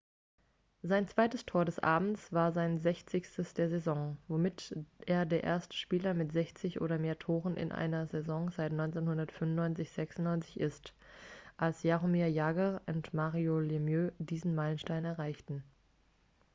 sein zweites tor des abends war sein sechzigstes der saison womit er der erste spieler mit 60 oder mehr toren in einer saison seit 1995-96 ist als jaromir jagr und mario lemieux diesen meilenstein erreichten